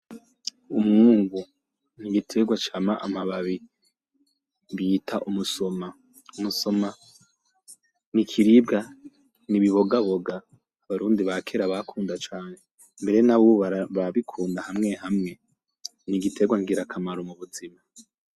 Umwungu n'igitegwa cama amababi bita umusoma, umusoma n'ikiribwa n'ibibogaboga ubarundi bakera bakunda cane mbere n'abubu barawukunda hamwe hamwe n'igitegwa ngirakamaro mu buzima.